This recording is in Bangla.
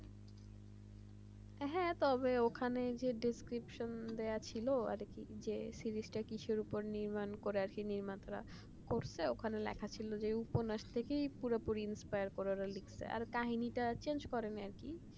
হ্যাঁ তো ওখানে description দেওয়া ছিল আর কি যে কিসের উপর নির্মাণ করে আছে নির্মাতারা করছে এখানে লেখা ছিল যে উপন্যাসটা কি inspire করে লিখছে আর কাহিনীটা change করেনি আর কি